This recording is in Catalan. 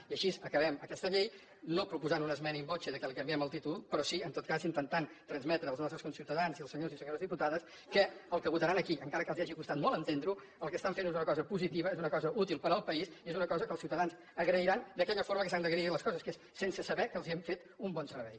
i així acabem aquesta llei no proposant una esmena in voce perquè li canviem el títol però sí en tot cas intentant transmetre als nostres conciutadans i als senyors i senyores diputats que el que votaran aquí encara que els hagi costat molt entendre ho el que estan fent és una cosa positiva és una cosa útil per al país és una cosa que els ciutadans agrairan d’aquella forma que s’han d’agrair les coses que és sense saber que els hem fet un bon servei